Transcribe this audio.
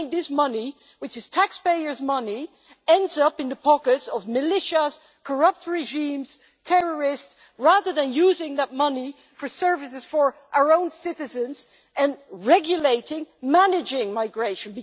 I think this money which is taxpayers' money ends up in the pockets of militias, corrupt regimes, terrorists, rather than using that money for services for our own citizens and regulating managing migration.